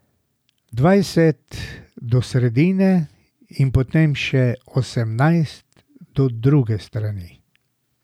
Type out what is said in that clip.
Dvajset do sredine in potem še osemnajst do druge strani.